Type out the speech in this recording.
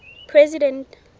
president